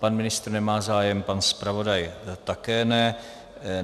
Pan ministr nemá zájem, pan zpravodaj také ne.